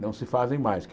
não se fazem mais. Que